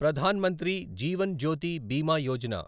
Pradhan Mantri Jeevan Jyoti Bima Yojana